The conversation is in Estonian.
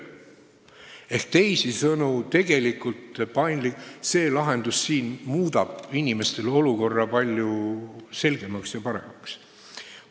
Ehk teisisõnu, tegelikult see lahendus siin muudab inimestele olukorra palju selgemaks ja paremaks.